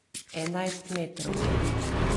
Enajstmetrovki?